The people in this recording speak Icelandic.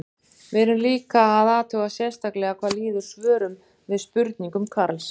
Við erum líka að athuga sérstaklega hvað líður svörum við spurningum Karls.